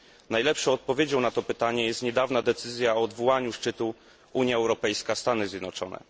Najlepszą odpowiedzią na to pytanie jest niedawna decyzja o odwołaniu szczytu Unia Europejska Stany Zjednoczone.